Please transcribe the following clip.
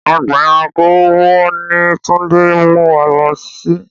Ọgbà ẹranko wo ni Túndé ń mú wa lọ sí?